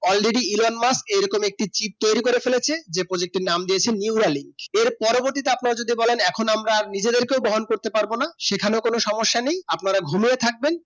Already Elon মার্শ এই রকম একটি chip তৈরি করে ফেলেছে যে project নাম দিয়েছে নিউ আলী এই পরবর্তীতে আপনারা যদি বলেন এখন আমরা নিজেদের কে বহন করতে পারবো না সেই খানে কোনো সমস্যা নেই আপনারা ঘুমিয়ে থাকবেন